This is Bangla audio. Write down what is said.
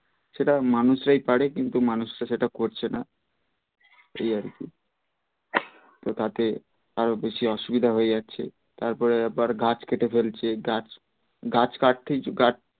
সেটা মানুষরাই পারে কিন্তু মানুষরা সেটা করছে না এই আর কি তো তাতে আরও বেশি অসুবিধা হয়ে যাচ্ছে তারপরে আবার গাছ কেটে ফেলছে গাছ গাছ কাটতেই গাছ